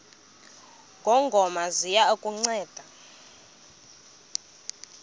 ngongoma ziya kukunceda